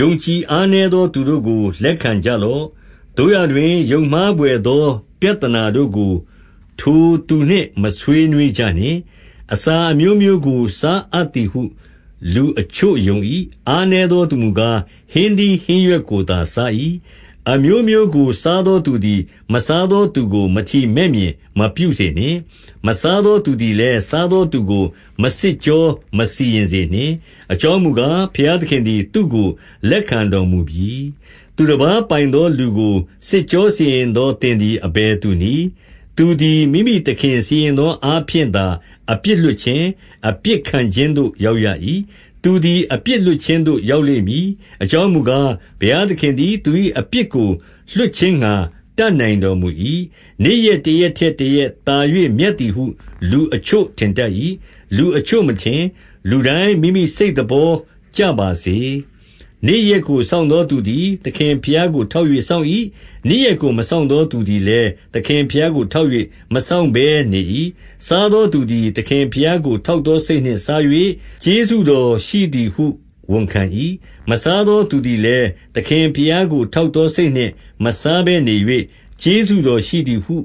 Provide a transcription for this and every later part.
ယုံကြည်အားနည်းသော သူတို့ကို လက်ခံကြလော့။ သို့ရာတွင် ယုံမှားဘွယ်သော ပြဿနာတို့ကို ထိုသူနှင့်မဆွေးနွေးကြနှင့်။ အစာအမျိုးမျိုးကို စားအပ်သည်ဟု လူအချို့ယုံ၏။ 2 အားနည်းသောသူမူကား၊ ဟင်းသီးဟင်းရွက်ကိုသာစား၏။ 3 အမျိုးမျိုးကို စားသောသူသည် မစားသောသူကို မထီမဲ့မြင် မပြုစေနှင့်။ မစားသောသူသည်လည်း၊ စားသော သူကိုမစစ်ကြောမစီရင်စေနှင့် အကြောင်းမူကား၊ ဘုရားသခင်သည် သူ့ကိုလက်ခံတော်မူပြီ။ 4 သူတပါးပိုင်သော လူကိုစစ်ကြောစီရင်သော သင်သည် အဘယ်သူနည်း။ သူသည်မိမိသခင်စီရင်သော အားဖြင့်သာအပြစ်လွတ်ခြင်း၊ အပြစ်ခံခြင်းသို့ ရောက်ရ၏။ သူသည်အပြစ်လွတ်ခြင်းသို့ရောက်လိမ့်မည်။ အကြောင်းမူကား၊ ဘုရားသခင်သည် သူ၏ အပြစ်ကို လွှတ်ခြင်းငှါ တတ်နိုင်တော်မူ၏။ 5 နေ့ရက်တရက်ထက်တရက် သာ၍မြတ်သည်ဟု လူအချို့ထင်တတ်၏။ လူအချို့မထင်။ လူတိုင်းမိမိ စိတ်သဘောကျပါစေ။ 6 နေ့ရက်ကိုစောင့်သောသူသည် သခင်ဘုရားကို ထောက်၍ စောင့်၏။ နေ့ရက်ကို မစောင့်သော သူသည်လည်း၊ သခင်ဘုရားကို ထောက်၍ မစောင့်ဘဲနေ၏။ စားသောသူသည်သခင်ဘုရားကို ထောက်သောစိတ်နှင့် စား၍ ကျေးဇူးတော်ရှိသည်ဟု ဝန်ခံ၏။ မစားသော သူသည်လည်း၊ သခင်ဘုရားကို ထောက်သောစိတ်နှင့် မစားဘဲနေ၍၊ ကျေးဇူးတော်ရှိသည်ဟု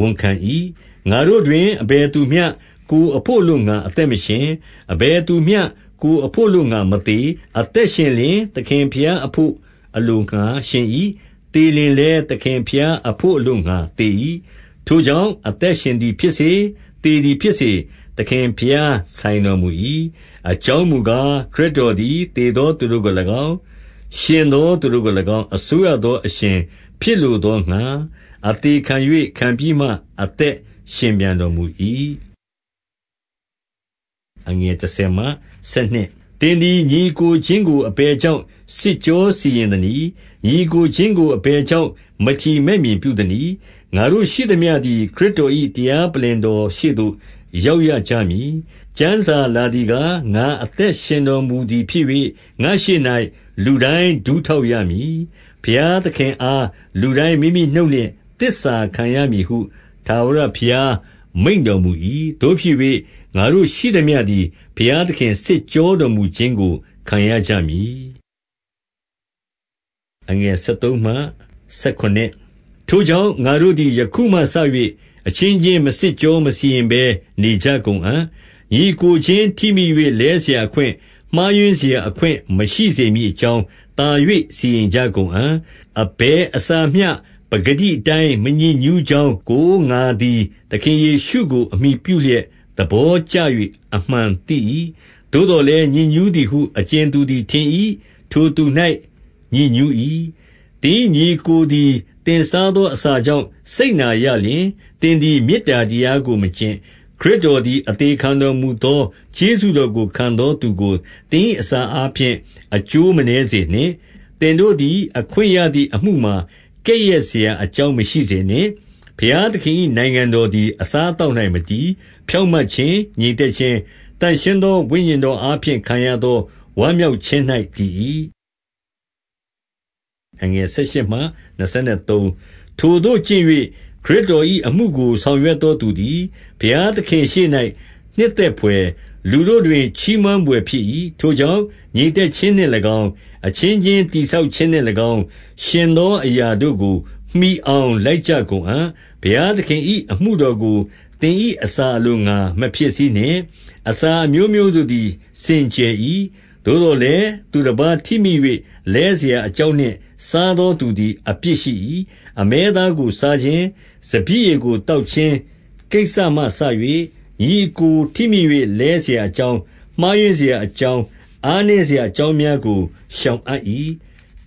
ဝန်ခံ၏။ 7 ငါတို့တွင် အဘယ်သူမျှကိုယ်အဘို့အလိုငှါ အသက်မရှင်။ အဘယ်သူမျှကိုယ်အဘို့အလို့ငှါမသေ။ 8 အသက်ရှင်လျှင်၊ သခင်ဘုရားအဘို့ အလိုငှါ ရှင်၏။ သေလျှင်လည်း၊ သခင်ဘုရား အဘို့အလိုငှါ သေ၏။ ထိုကြောင့်အသင်ရှင်သည်ဖြစ်စေ၊ သေသည် ဖြစ်စေ၊ သခင်ဘုရားဆိုင်တော်မူ၏။ 9 အကြောင်းမူကား၊ ခရစ်တော်သည်၊ သေသော သူတို့ကို၎င်း၊ ရှင်သောသူတို့ကို၎င်း၊ အစိုးရသောအရှင် ဖြစ်လိုသောငှါ အသေခံ၍၊ ခံပြီးမှအသက်ရှင်ပြန် တော်မူ၏။ 10 သင်သည် ညီအစ်ကိုချင်းကို အဘယ်ကြောင့် စစ်ကြောစီရင်သနည်း။ ညီအစ်ကိုချင်းကို အဘယ် ကြောင့် မထီမဲ့မြင်ပြုသနည်း။ ငါတို့ရှိသမျှသည် ခရစ်တော်၏ တရားပလ္လင်တော်ရှေ့သို့ ရောက်ရကြမည်။ 11 ကျမ်းစာလာသည်ကား၊ ငါအသက်ရှင်တော်မူသည်ဖြစ်၍၊ ငါ့ရှေ့၌ လူတိုင်းဒူးထောက်ရမည်။ ဘုရားသခင်အားလူတိုင်းမိမိနှုတ်နှင့် သစ္စာခံရမည်ဟု ထာဝရဘုရားမိန့်တော်မူ၏။ 12 သို့ဖြစ်၍၊ ငါတို့ရှိသမျှသည် ဘုရားသခင် စစ်ကြောတော်မူခြင်းကို ခံရကြမည်။ 13 ထိုကြောင့်၊ ငါတို့သည် ယခုမှစ၍ အချင်းချင်း မစစ်ကြောမစီရင်ဘဲ နေကြကုန်အံ့။ ညီအစ်ကိုချင်း ထိမိ၍ လဲစရာအခွင့်၊ မှားယွင်းစရာအခွင့်မရှိစေမည်အကြောင်း သာ၍ စီရင်ကြကုန်အံ့။ 14 အဘယ်အစာမျှ ပကတိအတိုင်း မညစ်ညူးကြောင်းကို၊ ငါသည်သခင်ယေရှုကို အမှီပြုလျက်သဘော ကျ၍ အမှန်သိ၏။ သို့သော်လည်း၊ ညစ်ညူးသည်ဟု အကြင်သူသည်ထင်၏။ ထိုသူ၌ ညစ်ညူး၏။ 15 သင်၏ညီအစ်ကိုသည် သင်စားသော အစာကြောင့် စိတ်နာရလျှင်၊ သင်သည်မေတ္တာတရားကို မကျင့်။ ခရစ်တော်သည် အသေခံတော်မူသော ကျေးဇူးတော်ကို ခံသောသူကိုသင်၏ အစာအားဖြင့် အကျိုး မနည်းစေနှင့်။ 16 သင်တို့သည် အခွင့်သည်အမှုမှာ ကဲ့ရဲ့စရာ အကြောင်းမရှိစေနှင့်။ 17 ဘုရားသခင်၏ နိုင်ငံတော်သည် အစားအသောက်၌ မတည်။ ဖြောင့်မတ်ခြင်း၊ ငြိမ်သက်ခြင်း၊ သန့်ရှင်းသော ဝိညာဉ်တော်အားဖြင့် ခံရသော ဝမ်းမြောက်ခြင်း၌ တည်၏။ 18 ထိုသို့ကျင့်၍ ခရစ်တော်၏အမှုကို ဆောင်ရွက်သောသူသည် ဘုရားသခင့်ရှေ့၌ နှစ်သက်ဘွယ်၊ လူတို့ တွင် ချီးမွမ်းဘွယ်ဖြစ်၏။ 19 ထိုကြောင့်၊ ငြိမ်သက်ခြင်းနှင့်၎င်း၊ အချင်းချင်းတည်ဆောက်ခြင်းနှင့်၎င်း ယှဉ်သောအရာတို့ကို မှီအောင်လိုက်ကြကုန်အံ့။ 20 ဘုရားသခင်၏ အမှုတော်ကို သင်၏အစာအလိုငှါ မဖျက်ဆီးနှင့်။ အစာအမျိုးမျိုးတို့သည် စင်ကြယ်၏။ သို့သော်လည်း သူတပါးထိမိ၍ လဲစရာအကြောင်းနှင့် စားသော သူသည်အပြစ်ရှိ၏။ 21 အမဲသားကိုစားခြင်း၊ စပျစ်ရည်ကိုသောက်ခြင်း ကိစ္စမှစ၍၊ ညီအစ်ကိုထိမိ၍ လဲစရာအကြောင်း၊ မှားယွင်း စရာအကြောင်း၊ အားနည်းစရာအကြောင်းများကို ရှောင်အပ်၏။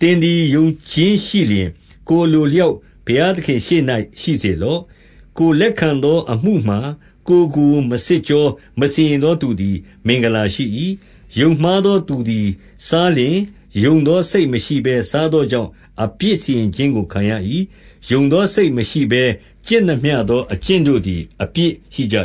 22 သင်သည်ယုံခြင်းရှိလျှင် ကိုယ်အလိုအလျောက် ဘုရားသခင့်ရှေ့၌ ရှိစေလော့။ ကိုယ်လက်ခံသောအမှုမှာ ကိုယ်ကိုမစစ်ကြော မစီရင်သောသူသည် မင်္ဂလာရှိ၏။ 23 ယုံမှားသောသူသည် စားလျှင်၊ ယုံသောစိတ် မရှိဘဲ စားသောကြောင့် အပြစ်စီရင်ခြင်းကိုခံရ၏။ ယုံသောစိတ်မရှိဘဲ ကျင့်သမျှသော အကျင့်တို့သည် အပြစ်ရှိကြ